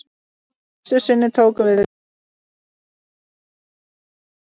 Að þessu sinni tókum við viðtal við FRAM-arann Eggert Stefánsson.